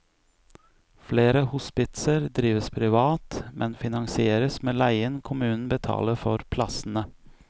Flere hospitser drives privat, men finansieres med leien kommunen betaler for plassene.